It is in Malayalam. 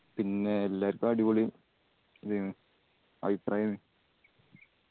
പിന്നെ എല്ലാർക്കു അടിപൊളി ഇതായിന് അഭിപ്രായാണ്